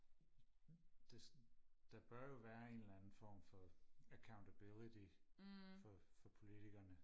det der bør jo være en eller anden form for accountability for for politikerne